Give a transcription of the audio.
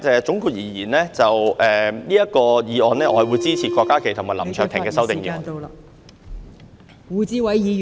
總結而言，就這項議案，我會支持郭家麒議員及林卓廷議員的修正案。